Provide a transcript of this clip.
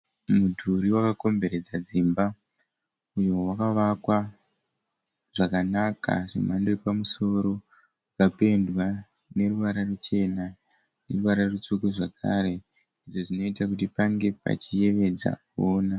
Mudhuri wakakomberedza dzimba uyo wakavakwa zvakanaka zvemhando yepamusoro ukapendwa neruvara ruchena neruvara rutsvuku zvakare izvo zvinoita kuti pange pachiyevedza kuona.